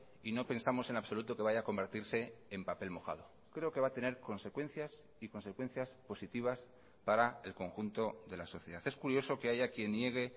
y no pensamos en absoluto que vaya a convertirse en papel mojado creo que va a tener consecuencias y consecuencias positivas para el conjunto de la sociedad es curioso que haya quien niegue